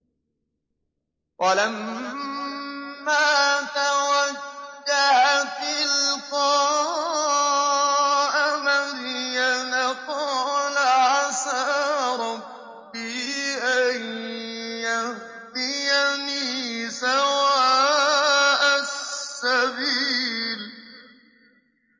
وَلَمَّا تَوَجَّهَ تِلْقَاءَ مَدْيَنَ قَالَ عَسَىٰ رَبِّي أَن يَهْدِيَنِي سَوَاءَ السَّبِيلِ